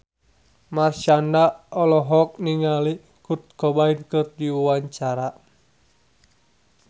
Marshanda olohok ningali Kurt Cobain keur diwawancara